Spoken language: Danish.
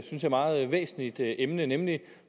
jeg meget væsentligt emne nemlig